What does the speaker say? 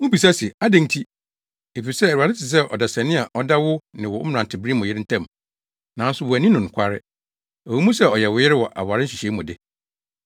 Mubisa se, “Adɛn nti?” Efisɛ Awurade te sɛ ɔdanseni a ɔda wo ne wo mmerantebere mu yere ntam, nanso woanni no nokware, ɛwɔ mu sɛ ɔyɛ wo yere wɔ aware nhyehyɛe mu de.